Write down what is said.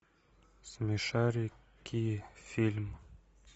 смешарики фильм